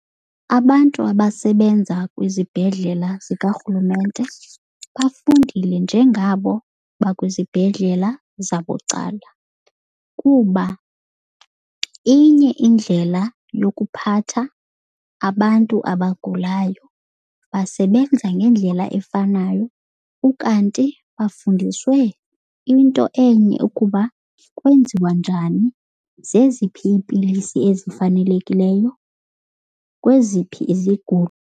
Abantu abasebenza kwizibhedlela zikarhulumente bafundile njengabo bakwizibhedlela zabucala, kuba inye indlela yokuphatha abantu abagulayo. Basebenza ngendlela efanayo ukanti bafundiswe into enye ukuba kwenziwa njani, zeziphi iipilisi ezifanelekileyo, kweziphi izigulo.